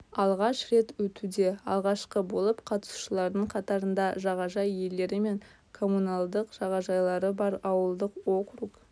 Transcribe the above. алғаш рет өтуде алғашқы болып қатысушылардың қатарында жағажай иелері мен коммуналдық жағажайлары бар ауылдық округ